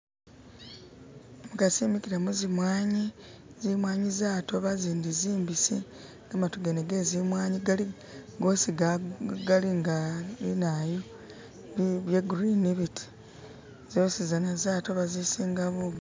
Umukasi imikile mu zimwanyi, zimwanyi zatooba zindi zimbisi gamatu gene ge zimwanyi goosi galinga ibintu bya green biti zasozana zatooba izisinga bugaali